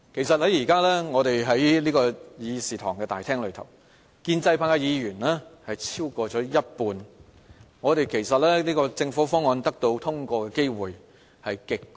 由於現時議事廳裏建制派議員有超過一半，政府議案得到通過的機會極高。